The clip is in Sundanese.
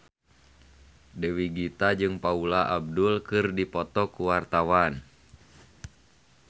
Dewi Gita jeung Paula Abdul keur dipoto ku wartawan